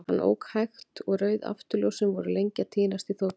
Hann ók hægt, og rauð afturljósin voru lengi að týnast í þokunni.